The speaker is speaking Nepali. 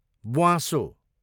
ब्वाँसो